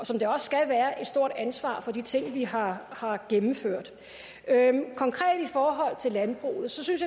som det også skal være et stort ansvar for de ting vi har gennemført konkret i forhold til landbruget synes